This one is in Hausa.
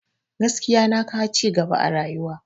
Gaskiya na kawo cigaba a rayuwa